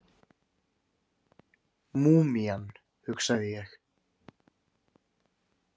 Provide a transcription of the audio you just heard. Múmían, hugsaði ég.